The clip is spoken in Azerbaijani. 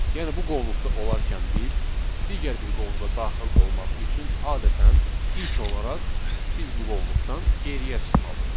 Yəni bu qovluqda olarkən biz digər bir qovluğa daxil olmaq üçün adətən ilk olaraq biz bu qovluqdan geriyə çıxmalıydıq.